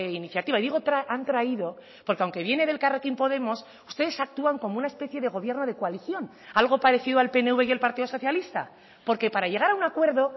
iniciativa digo han traído porque aunque viene de elkarrekin podemos ustedes actúan como una especie de gobierno de coalición algo parecido al pnv y el partido socialista porque para llegar a un acuerdo